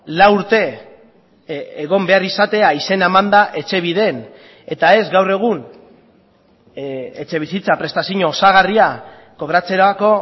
lau urte egon behar izatea izena emanda etxebiden eta ez gaur egun etxebizitza prestazio osagarria kobratzerako